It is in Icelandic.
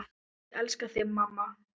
Ég elska þig, mamma.